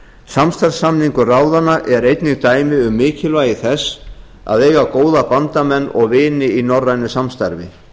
samstarfssamningur ráðanna er einnig dæmi um mikilvægi þess að eiga góða bandamenn og vini í norrænu samstarfi